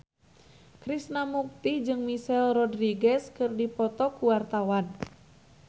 Krishna Mukti jeung Michelle Rodriguez keur dipoto ku wartawan